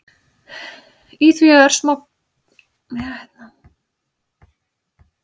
Í því eru örsmá göng og í þeim frumuþræðir sem gera það viðkvæmt.